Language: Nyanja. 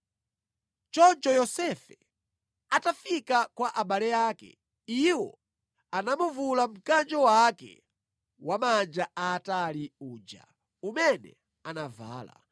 Choncho Yosefe atafika kwa abale ake, iwo anamuvula mkanjo wake wamanja aatali uja umene anavala